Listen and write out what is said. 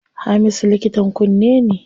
Hamisu likitan kunne ne.